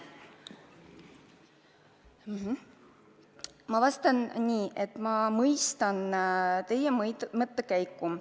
Ma vastan nii, et ma mõistan teie mõttekäiku.